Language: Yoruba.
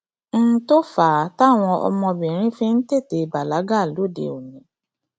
n tó fà á táwọn ọmọbìnrin fi ń tètè bàlágà lóde òní